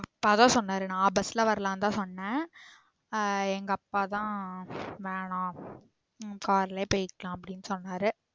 அப்பா தான் சொன்னாரு நான் bus ல வரலாம் தான் சொன்னேன் ஆஹ் எங்க அப்பா தான் வேண்ணா உம் car லே போய்க்கலாம் அப்டின்னு சொன்னாரு